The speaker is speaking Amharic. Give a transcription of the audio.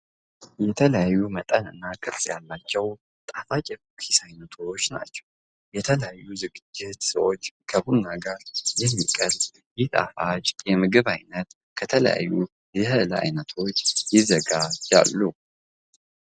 የተለያዩ መጠን እና ቅርፅ ያላቸዉ ጣፍጭ የኩኪስ አይነቶች ናቸዉ። ለተለያዩ ዝግጅቶች ከቡና ጋር የሚቀርብ ይህ ጣፋጭ የምግብ አይነት ከተለያዩ የእህል አይነቶች ይዘጋጃሉ።